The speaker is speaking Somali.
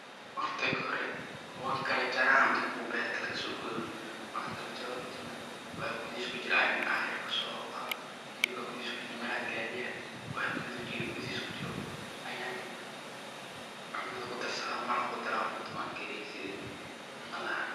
Marka kahori wankala jarah kuwa beerta laga soo gooyoh markan kalajaroh kadib waxa kuthaheesa kujiroh Aya AA yarko helibka meeraheiska kujiroh waxa kuathahiska kujiroh Ayan cuntaha ku darsatha maraqa darah kariyah sethi cuntaha ahaan.